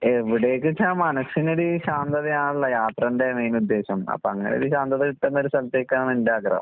എവടേക്ക്ച്ചാ മനസ്സിനൊര് ശാന്തതയാണല്ലാ യാത്രേന്റെ മെയിനുദ്ദേശം. അപ്പങ്ങനൊരു ശാന്തത കിട്ടുന്നൊരു സ്ഥലത്തേക്കാണ് എന്റെ ആഗ്രഹം.